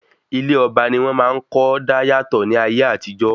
Ilé ọba ni wọ́n máa ń kọ́ dáyàtọ̀ ní ayé àtijọ́